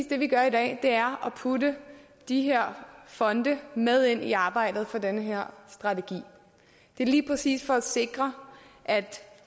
det vi gør i dag er lige præcis at putte de her fonde med ind i arbejdet for den her strategi det er lige præcis for at sikre at